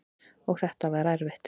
Og þetta var erfitt.